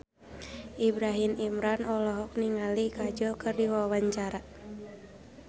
Ibrahim Imran olohok ningali Kajol keur diwawancara